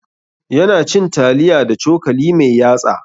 Ya na cin taliya da cokali mai yatsa